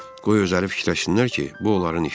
Qoy özləri fikirləşsinlər ki, bu onların işidir.